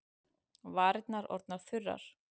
Varirnar orðnar þurrar.